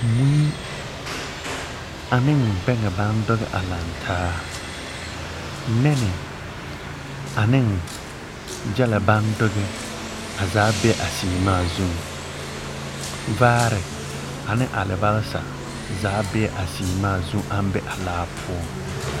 Mui, aneŋ beŋɛ baŋ doge a laŋ taa. Nɛne, aneŋ gyɛlɛ baŋ doge a zaa be a seemaa zuŋ. Vaare, ane alabalsa zaa be a seemaa zu aŋ be a laa poɔŋ.